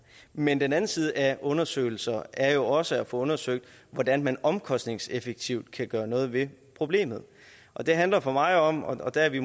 men den anden side af undersøgelser er jo også at få undersøgt hvordan man omkostningseffektivt kan gøre noget ved problemet det handler for mig om og der er vi